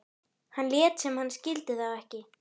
Hann lét sem hann skildi þá ekki.